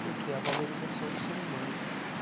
Porque é a valorização do ser humano.